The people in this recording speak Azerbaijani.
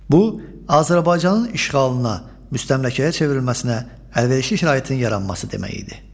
Bu, Azərbaycanın işğalına, müstəmləkəyə çevrilməsinə əlverişli şəraitin yaranması demək idi.